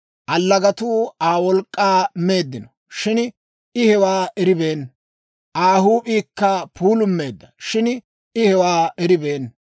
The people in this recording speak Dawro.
Allagatuu Aa wolk'k'aa meeddino, shin I hewaa eribeenna; Aa huup'iikka puulummeedda, shin I hewaa eribeenna.